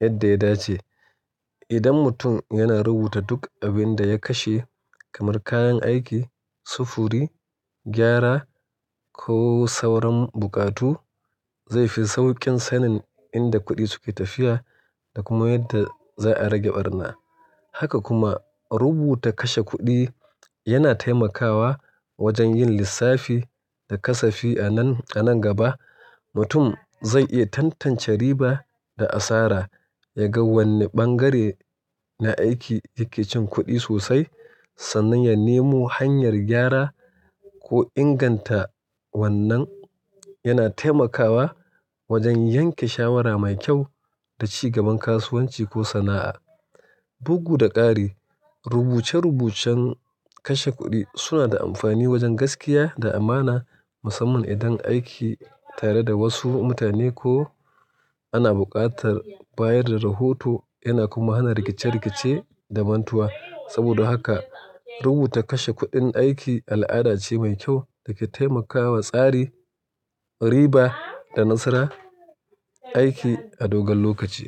yadda ya dace. Idan mutum yana rubuta duk abin da ya kashe kamar kayan aiki, sufuri, gyara ko sauran buƙatu, zai fi sauƙin sanin inda kuɗi suke tafiya da kuma yadda za a rage ɓarna. Haka kuma rubuta kashe kuɗi yana taimakawa wajen yin lissafi da kasafi. A nan gaba, mutum zai iya tantance riba da asara, ya ga wanne ɓangare na aiki yake cin kuɗi sosai sannan ya nemo hanyar gyara ko inganta wannan. Yana taimakawa wajen yanke shawara mai kyau da ci gaban kasuwanci ko sana'a. Bugu da ƙari, rubuce-rubucen kashe kuɗi suna da amfani wajen gaskiya da amana musamman idan aiki tare da wasu mutane ko ana buƙatar bayar da rahoto. Yana kuma hana rikice-rikice da mantuwa. Saboda haka rubuta kashe kuɗin aiki al'ada ce mai kyau da ke taimakawa tsari, riba da nasara aiki a dogon lokaci.